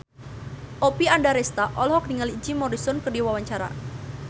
Oppie Andaresta olohok ningali Jim Morrison keur diwawancara